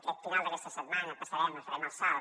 aquest final d’aquesta setmana passarem farem el salt